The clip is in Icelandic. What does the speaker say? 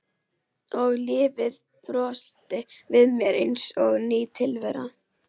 Og lífið brosti við mér eins og ný tilvera.